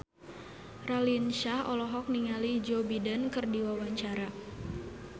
Raline Shah olohok ningali Joe Biden keur diwawancara